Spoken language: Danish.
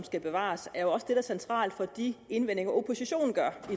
skal bevares er jo også det der er centralt for de indvendinger oppositionen gør